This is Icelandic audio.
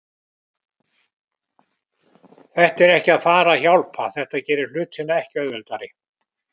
Þetta er ekki að fara að hjálpa, þetta gerir hlutina ekki auðveldari.